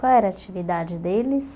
Qual era a atividade deles?